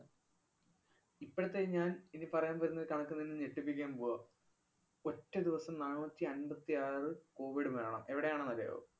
ഇപ്പോഴത്തെയീ ഞാന്‍ ഇനി പറയാന്‍ വരുന്ന കണക്ക് നിന്നെ ഞെട്ടിപ്പിക്കാന്‍ പോവാ. ഒറ്റദിവസം നാണൂറ്റി അമ്പത്തിയാറ് covid മരണം. എവിടെയാണെന്നറിയാവോ?